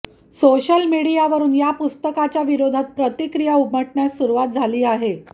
social मिडियावरून या पुस्तकाच्या विरोधात प्रतिक्रिया उमटण्यास सुरुवात झाली आहे